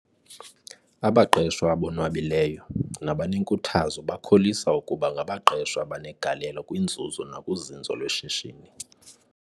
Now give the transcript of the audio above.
Abaqeshwa abonwabileyo, nabanenkuthazo bakholisa ukuba ngabaqeshwa abanegalelo kwinzuzo nakuzinzo lweshishini.